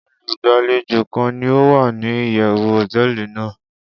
Olugbalejo kan ni o wa ni iyewu hoteeli nàá